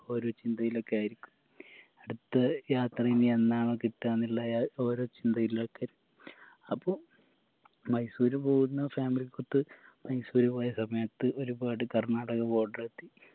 ഓരോ ചിന്തയിലേക്കായിരിക്കും അടുത്ത യാത്ര ഇനി എന്നാണോ കിട്ടാന്നുള്ള ഏർ ഓരോ ചിന്തയിലൊക്കെ അപ്പൊ മൈസൂര് പോവുന്ന family ക്കൊത്ത് മൈസൂര് പോയ സമയത്ത് ഒരുപാട് കർണാടക border എത്തി